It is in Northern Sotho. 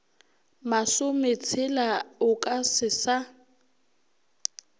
masometshela o ka se sa